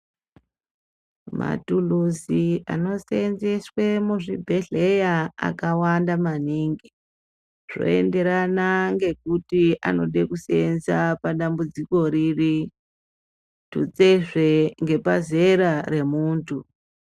Maturuzi anoseenzeswe muzvibhedhleya akawanda maningi zvoenderana ngekuti anoda kuseenza padambudziko riri tutsezve ngepazera remuntu.